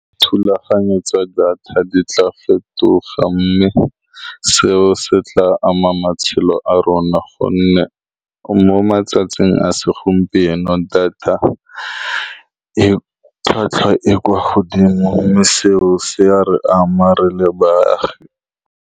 Thulaganyo tsa data di tla fetoga, mme seo se tla ama matshelo a rona. Ka gonne mo matsatsing a segompieno, data e tlhwatlhwa e e kwa godimo, mme seo se ya re amang re le baagi.